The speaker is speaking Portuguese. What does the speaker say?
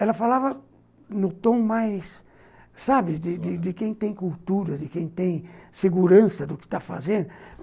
Ela falava no tom mais, sabe, de quem tem cultura, de quem tem segurança do que está fazendo.